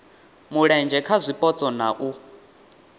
mulenzhe kha zwipotso na u